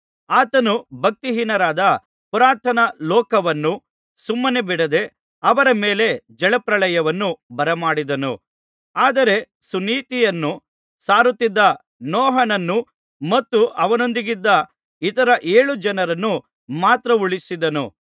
ಆತನು ಭಕ್ತಿಹೀನರಾದ ಪುರಾತನ ಲೋಕವನ್ನು ಸುಮ್ಮನೆ ಬಿಡದೆ ಅವರ ಮೇಲೆ ಜಲಪ್ರಳಯವನ್ನು ಬರಮಾಡಿದನು ಆದರೆ ಸುನೀತಿಯನ್ನು ಸಾರುತ್ತಿದ್ದ ನೋಹನನ್ನೂ ಮತ್ತು ಅವನೊಂದಿಗಿದ್ದ ಇತರ ಏಳು ಜನರನ್ನು ಮಾತ್ರ ಉಳಿಸಿದನು